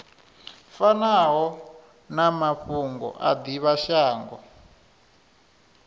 fanaho na mafhungo a divhashango